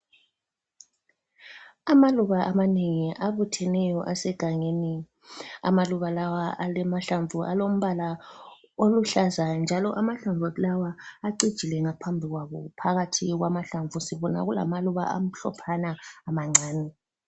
Amaluba amanengi abutheneyo asegangeni. Amaluba lawa alamahlamvu alombala oluhlaza, njalo amahlamvu lawa acijile ngaphambi kwawo. Phakathi kwamahlamvu sibona kulamaluba amhlophana amancane.